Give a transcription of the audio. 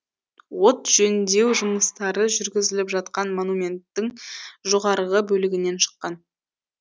от жөндеу жұмыстары жүргізіліп жатқан монументтің жоғарғы бөлігінен шыққан